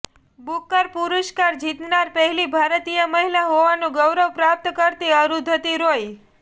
Booker પુરસ્કાર જીતનાર પહેલી ભારતીય મહિલા હોવાનું ગૌરવ પ્રાપ્ત કરતી અરુંધતી રોય